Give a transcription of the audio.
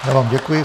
Já vám děkuji.